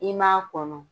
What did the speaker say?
I m'a kɔnɔ